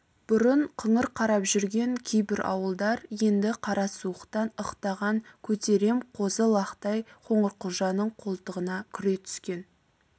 бұрын қыңыр қарап жүрген кейбір ауылдар енді қара суықтан ықтаған көтерем қозы-лақтай қоңырқұлжаның қолтығына кіре түскен